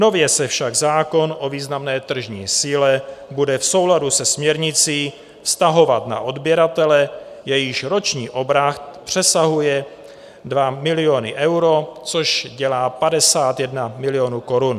Nově se však zákon o významné tržní síle bude v souladu se směrnicí vztahovat na odběratele, jejichž roční obrat přesahuje 2 miliony euro, což dělá 51 milionů korun.